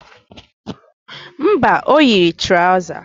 Mba, o yiri trọza